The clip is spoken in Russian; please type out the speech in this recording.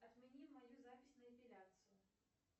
отмени мою запись на эпиляцию